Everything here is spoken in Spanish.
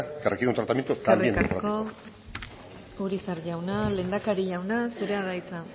que recibe un tratamiento también democrático eskerrik asko urizar jauna lehendakari jauna zurea da hitza